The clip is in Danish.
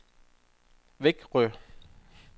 Växjö